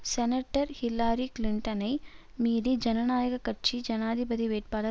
senator Hillary கிளின்டனை மீறி ஜனநாயக கட்சி ஜனாதிபதி வேட்பாளர்